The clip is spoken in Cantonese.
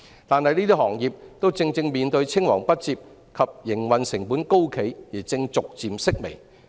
但是，這些行業正正面對青黃不接及營運成本高企的問題而正逐漸式微。